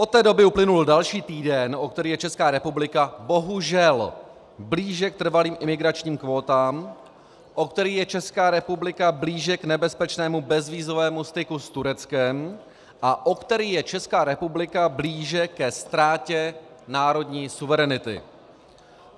Od té doby uplynul další týden, o který je Česká republika bohužel blíže k trvalým imigračním kvótám, o který je Česká republika blíže k nebezpečnému bezvízovému styku s Tureckem a o který je Česká republika blíže ke ztrátě národní suverenity.